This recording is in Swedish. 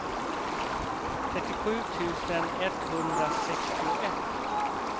trettiosju tusen etthundrasextioett